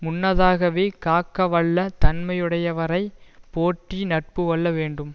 முன்னதாகவே காக்க வல்ல தன்மையுடையவரை போற்றி நட்பு கொள்ள வேண்டும்